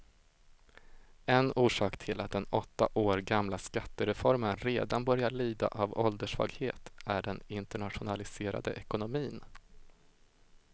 En orsak till att den åtta år gamla skattereformen redan börjar lida av ålderssvaghet är den internationaliserade ekonomin.